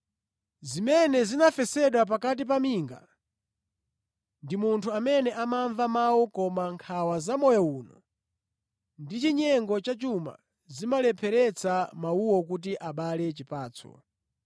Zimene zinafesedwa pakati pa minga, ndi munthu amene amamva mawu koma nkhawa za moyo uno ndi chinyengo cha chuma zimalepheretsa mawuwo kuti abale chipatso.